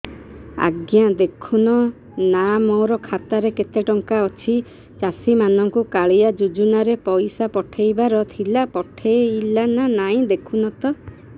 ଆଜ୍ଞା ଦେଖୁନ ନା ମୋର ଖାତାରେ କେତେ ଟଙ୍କା ଅଛି ଚାଷୀ ମାନଙ୍କୁ କାଳିଆ ଯୁଜୁନା ରେ ପଇସା ପଠେଇବାର ଥିଲା ପଠେଇଲା ନା ନାଇଁ ଦେଖୁନ ତ